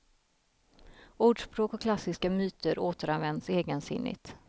Ordspråk och klassiska myter återanvänds egensinnigt.